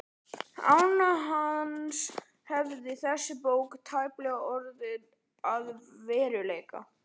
Án hans hefði þessi bók tæplega orðið að veruleika.